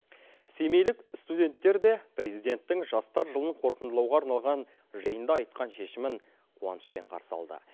семейлік студенттер де президенттің жастар жылын қорытындылауға арналған жиында айтқан шешімін қуанышпен қарсы алды